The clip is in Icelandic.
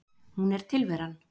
Hún er tilveran.